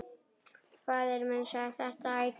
Faðir minn sagði þetta ætíð.